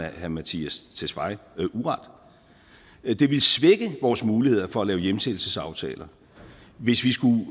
herre mattias tesfaye uret det ville svække vores muligheder for at lave hjemsendelsesaftaler hvis vi skulle